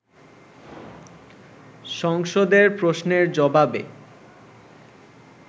সংসদে প্রশ্নের জবাবে